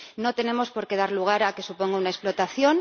No tenemos por qué dar lugar a que suponga una explotación